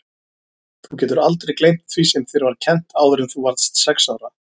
Þú getur aldrei gleymt því sem þér var kennt áður en þú varðst sex ára.